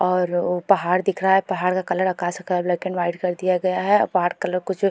और उ पहाड़ दिखरा है पहाड़ का कलर आकाश का कलर ब्लैक एंड वाइट कर दिया गया है और कुछ --